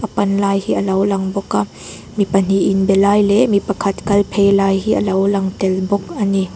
panka hi alo lang bawk a mi pahnih in be lai leh mi pakhat kal phei lai hi alo lang tel bawk a ni.